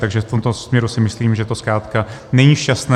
Takže v tomto směru si myslím, že to zkrátka není šťastné.